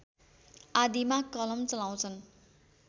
आदिमा कलम चलाउँछन्